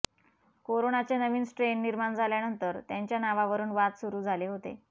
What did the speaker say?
कोरोनाचे नवीन स्ट्रेन निर्माण झाल्यानंतर त्यांच्या नावावरून वाद सुरू झाले होते